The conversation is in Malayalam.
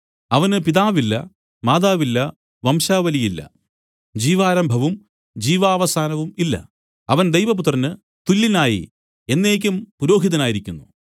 അവന് പിതാവില്ല മാതാവില്ല വംശാവലിയില്ല ജീവാരംഭവും ജീവാവസാനവും ഇല്ല അവൻ ദൈവപുത്രന് തുല്യനായി എന്നേക്കും പുരോഹിതനായിരിക്കുന്നു